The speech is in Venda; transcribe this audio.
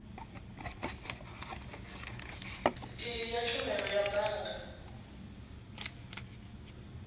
iyi ya tshumelo ya bannga